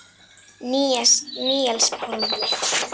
Níels Pálmi.